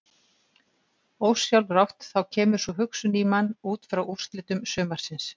Ósjálfrátt þá kemur sú hugsun í mann útfrá úrslitum sumarsins.